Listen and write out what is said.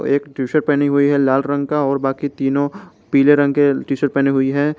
एक टीशर्ट पहनी हुई है लाल रंग का और बाकी तीनों पीले रंग के पहनी हुई है।